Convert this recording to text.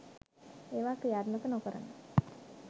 ඒවා ක්‍රියාත්මක නොකරන